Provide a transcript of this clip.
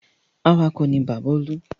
Awakọ̀ ni bàbá Olú.